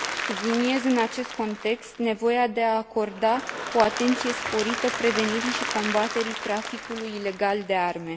Subliniez, în acest context, nevoia de a acorda o atenție sporită prevenirii și combaterii traficului ilegal de arme.